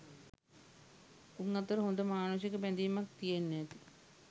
උං අතර හොඳ මානුෂික බැඳීමක් තියෙන්න ඇති